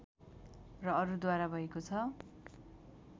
र अरूद्वारा भएको छ